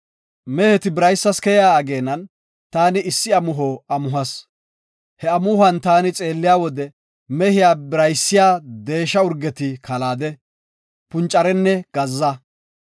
“Meheti biraysas keyiya ageenan taani issi amuho amuhas. He amuhuwan taani xeelliya wode mehiya biraysiya deesha urgeti kalaade, puncarenne gazza.